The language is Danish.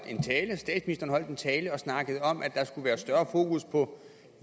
en tale og snakket om at der skal være større fokus på